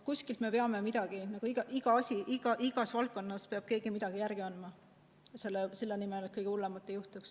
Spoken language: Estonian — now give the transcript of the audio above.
Kuskil me peame midagi järele andma, igas valdkonnas peab keegi midagi järele andma selle nimel, et kõige hullemat ei juhtuks.